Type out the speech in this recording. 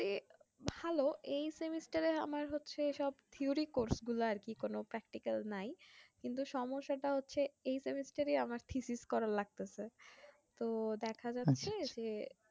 ভালো এই semester এ আমার হচ্ছে সব theory course গুলো আর কি কোনো practical নাই কিন্তু সম্যসা টা হচ্ছে এই semester এই করা লাগতেছে তো দেখা যাচ্ছে যে